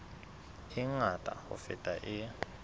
e ngata ho feta e